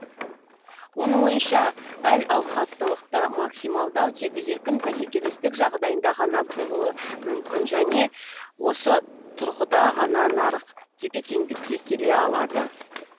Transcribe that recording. оның ойынша әл ауқаттылықты максималдау тек еркін бәсекелестік жағдайында ғана болуы мүмкін және осы тұрғыда ғана нарық тепе теңдікке келе алады